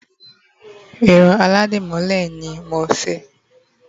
irun Aladimole ni mo nse